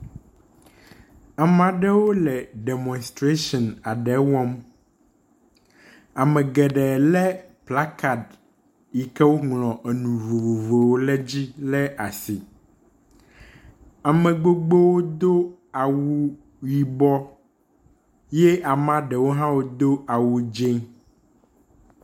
Ame aɖewo le demɔstration aɖe wɔm. Ame geɖe le kplakad yi ke woŋlɔ enu vovovowo le dzi le asi. Ame gbogbowo do awu yibɔ ye ame ɖewo hã wodo awu dzi.